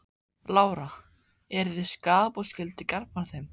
Lára: Eru þið skaðabótaskyldir gagnvart þeim?